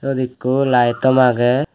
swot eko light tom aagay.